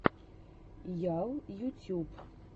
ял ютюб